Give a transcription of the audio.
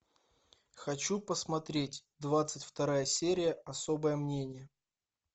хочу посмотреть двадцать вторая серия особое мнение